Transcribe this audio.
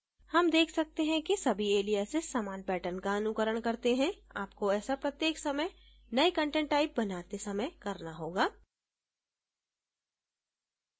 हम देख सकते हैं कि सभी aliases समान pattern का अनुकरण करते हैं आपको ऐसा प्रत्येक समय नये content type बनाते समय करना होगा